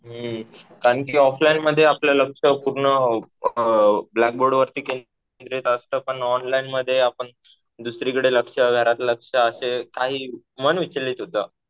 हम्म. कारण कि ऑफ लाईनमध्ये आपलं लक्ष पूर्ण अ ब्लॅक बोर्डवरती केंद्रित असतं. पण ऑनलाईनमध्ये आपण दुसरीकडे लक्ष, घरात लक्ष असं काही मन विचलित होतं.